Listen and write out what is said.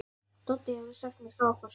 Doddi hefur sagt mér frá ykkur.